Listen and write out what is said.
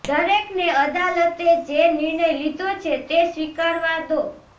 દરેકને અદાલતે જે નિર્ણય લીધો છે તે સ્વીકારવા દો